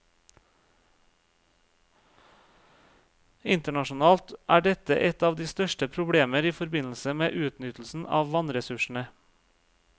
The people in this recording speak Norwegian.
Internasjonalt er dette et av de største problemer i forbindelse med utnyttelsen av vannressursene.